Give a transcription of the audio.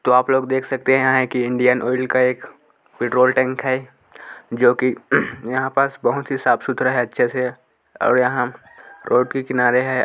तो आप लोग देख सकते हैं कि इन्डियन ऑयल का एक पेट्रोल टैंक है जो कि यहाँ पास बहुत ही साफ सुथरा है अच्छे से ओर यहाँ रोड के किनारे है।